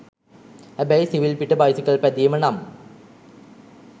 හැබැයි සිවිල් පිට බයිසිකල් පැදීම නම්